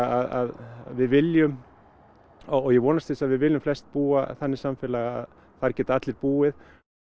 að við viljum og ég vonast til þess að við viljum flest búa þannig samfélag að þar geta allir búið